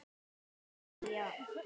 Átakið, já.